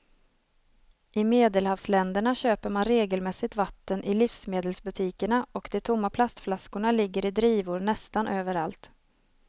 I medelhavsländerna köper man regelmässigt vatten i livsmedelsbutikerna och de tomma plastflaskorna ligger i drivor nästan överallt.